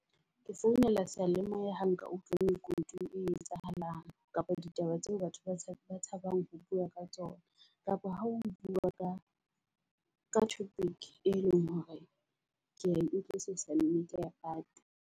Ke founela seyalemoya ha nka utlwa lekunutu le etsahalang, kapa ditaba tseo batho ba tshabang ho bua ka tsona. Kapa ha o bua ka ka topic e leng hore ke utlwisusa nnete ya park.